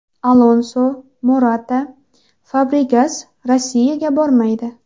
Alonso, Morata, Fabregas Rossiyaga bormaydi.